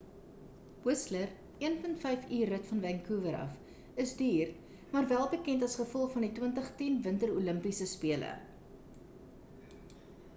whistler 1.5 uur rit van vancouver af is duur maar wel-bekend as gevolg van die 2010 winter olimpiese spele